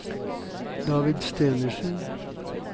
David Stenersen